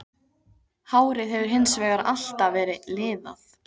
Hárið hefur hins vegar alltaf verið liðað.